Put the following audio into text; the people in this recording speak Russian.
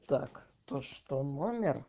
так то что номер